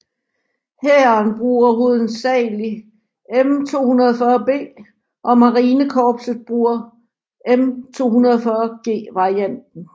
Hæren bruger hovedsagelig M240B og marinekorpset bruger M240G varianten